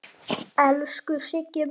Elsku Siggi minn.